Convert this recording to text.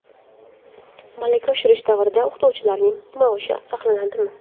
Malaka oshirish davrida o‘qituvchilarning maoshi saqlanadimi?.